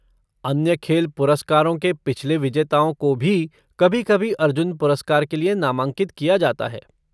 अन्य खेल पुरस्कारों के पिछले विजेताओं को भी कभी कभी अर्जुन पुरस्कार के लिए नामांकित किया जाता है।